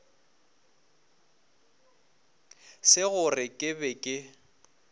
se gore ke be ke